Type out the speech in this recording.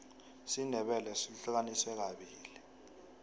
isindebele sihlukaniswe kabili